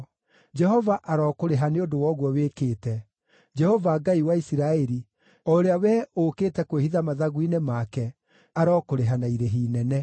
Jehova arokũrĩha nĩ ũndũ wa ũguo wĩkĩte. Jehova Ngai wa Isiraeli, o ũrĩa wee ũũkĩte kwĩhitha mathagu-inĩ make, arokũrĩha na irĩhi inene.”